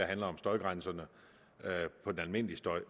handler om støjgrænserne for den almindelige støj